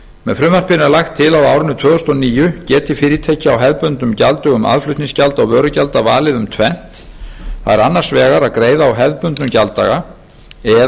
með frumvarpinu er lagt til að á árinu tvö þúsund og níu geti fyrirtæki á hefðbundnum gjalddögum aðflutningsgjalda og vörugjalda valið um tvennt það er annars vegar að greiða á hefðbundnum gjalddaga eða